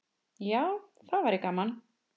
Já, það væri gaman.